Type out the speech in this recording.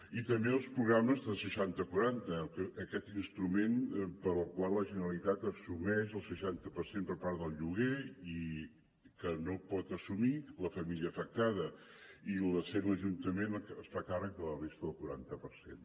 i també els programes de seixanta quaranta aquest instrument pel qual la generalitat assumeix el seixanta per cent per part del lloguer que no pot assumir la família afectada i l’ajuntament es fa càrrec de la resta del quaranta per cent